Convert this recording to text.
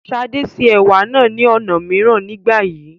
Ṣadé se Ẹ̀wà náà ní ọ̀nà mìíràn nígbà yìí.